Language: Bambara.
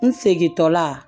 N segintɔla